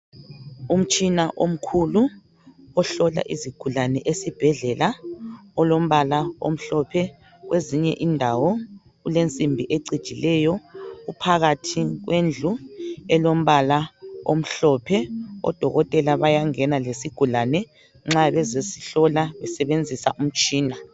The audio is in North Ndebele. Umtshina omkhulu ohlola izigulane esibhedlela olombala omhlophe kwezinye indawo ulensimbi ecijileyo, uphakathi kwendlu elombala omhlophe. Odokotela bayangena lesigulane nxa bezesihlola besebenzisa umtshina.